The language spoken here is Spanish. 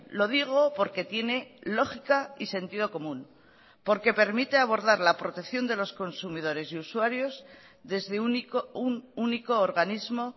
lo digo porque tiene lógica y sentido común porque permite abordar la protección de los consumidores y usuarios desde un único organismo